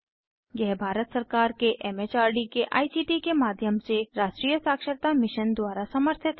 यह भारत सरकार के एम एच आर डी के आई सी टी के माध्यम से राष्ट्रीय साक्षरता मिशन द्वारा समर्थित है